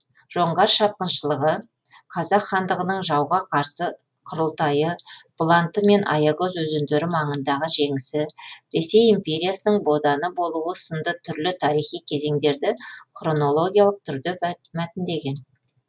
жоңғар шапқыншылығы қазақ хандығының жауға қарсы құрылтайы бұланты мен аягөз өзендері маңындағы жеңісі ресей империясының боданы болуы сынды түрлі тарихи кезеңдерді хронологиялық түрде мәтіндеген